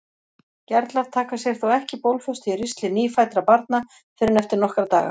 Gerlar taka sér þó ekki bólfestu í ristli nýfæddra barna fyrr en eftir nokkra daga.